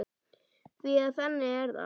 Því að þannig er það!